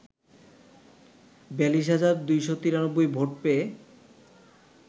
৪২ হাজার ২৯৩ ভোট পেয়ে